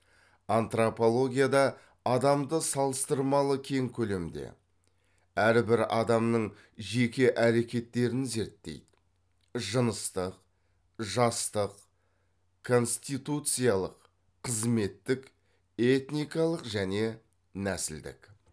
антропологияда адамды салыстырмалы кең көлемде әрбір адамның жеке әрекеттерін зерттейді жыныстық жастық конституциялық қызметтік этникалық және нәсілдік